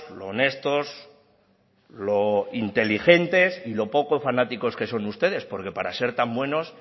lo honestos lo inteligentes y lo poco fanáticos que son ustedes porque para ser tan buenos